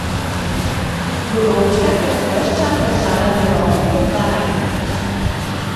Golobčka sta se ves čas držala za roke kot dva najstnika.